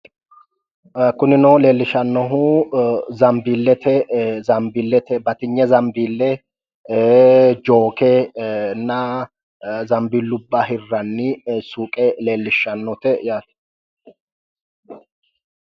Kunino leellishshannohu zambiillete zambiillete batinye zambiille, jooke , zambiillubba hirranni suuqe leellishshannote yaate.